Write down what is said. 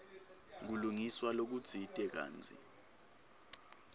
kulungiswa lokutsite kantsi